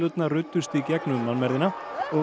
eðlurnar ruddust í gegnum mannmergðina og